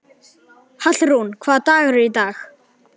Hallrún, hvaða dagur er í dag?